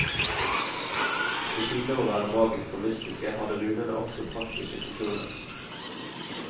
Ved siden av å være magiske og mystiske hadde runene også praktiske funksjoner.